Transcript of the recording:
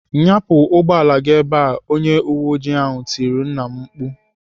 "Nyapụ ụgbọala gị ebe!" Onye uwe oji tirile nna m mkpu.